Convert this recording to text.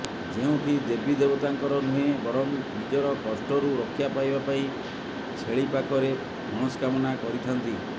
ଯେଉଁଠି ଦେବୀ ଦେବତାଙ୍କର ନୁହେଁ ବରଂ ନିଜର କଷ୍ଟରୁ ରକ୍ଷା ପାଇବା ପାଇଁ ଛେଳି ପାଖରେ ମନଷ୍କାମନା କରିଥାନ୍ତି